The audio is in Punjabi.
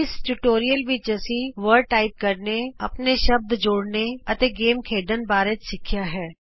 ਇਸ ਟਿਯੂਟੋਰੀਅਲ ਵਿਚ ਅਸੀਂ ਲ਼ਫ਼ਜ਼ ਟਾਈਪ ਕਰਨੇ ਆਪਣੇ ਸ਼ਬਦ ਜੋੜਨੇ ਅਤੇ ਗੇਮ ਖੇਡਣ ਬਾਰੇ ਸਿੱਖਿਆ ਹੈ